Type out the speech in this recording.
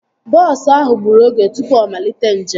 Bọọsu ahụ gburu oge tụpụ ọ malite njem